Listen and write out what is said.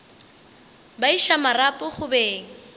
ba iša marapo go beng